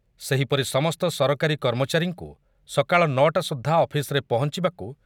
ସେହିପରି ସମସ୍ତ ସରକାରୀ କର୍ମଚାରୀଙ୍କୁ ସକାଳ ନଅଟା ସୁଦ୍ଧା ଅଫିସ୍‌ରେ ପହଞ୍ଚିବାକୁ